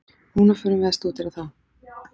Núna förum við að stúdera þá.